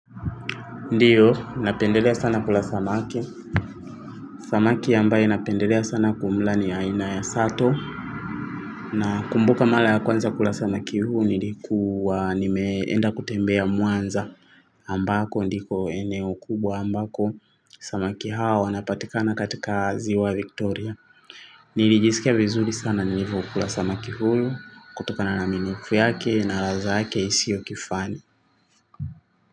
Ndiyo napendelea sana kula samaki samaki ambaye napendelea sana kumla ni aina ya sato nakumbuka mara ya kwanza kula samaki huyu nilikuwa nimeenda kutembea mwanza ambako ndiko eneo kubwa ambako samaki hawa wanapatikana katika ziwa victoria nilijisikia vizuri sana nilivokula samaki huyu kutokana na minofu yake na ladha yake isio kifani.